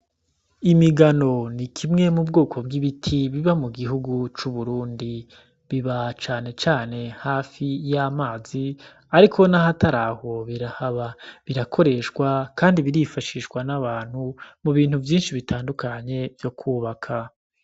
Imigano nikimwe mubwoko bw'ibiti biba mugihugu c'Uburundi ,biba cane cane hafi y'amazi, ariko nahataraho birahaba, birakoreshwa kandi birifashishwa n'abantu mubintu vyinshi bitandukanye vyo kwubaka.